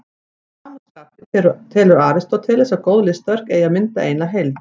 Að sama skapi telur Aristóteles að góð listaverk eigi að mynda eina heild.